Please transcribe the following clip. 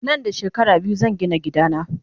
Nan da shekara biyu zan Gina gida na